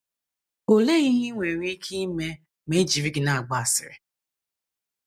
Olee ihe i nwere ike ime ma e jiri gị na - agba asịrị?